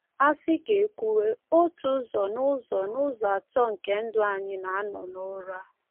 A sị ka e kwuwe, otu ụzọ n’ụzọ n’ụzọ atọ nke ndụ anyị na-anọ n’ụra.